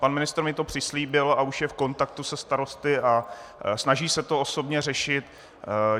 Pan ministr mi to přislíbil a už je v kontaktu se starosty a snaží se to osobně řešit.